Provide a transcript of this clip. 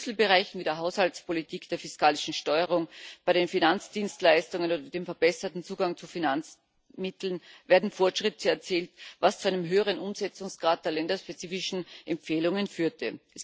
In Schlüsselbereichen wie der Haushaltspolitik, der fiskalischen Steuerung, bei den Finanzdienstleistungen und dem verbesserten Zugang zu Finanzmitteln werden Fortschritte erzielt, was zu einem höheren Umsetzungsgrad der länderspezifischen Empfehlungen führte.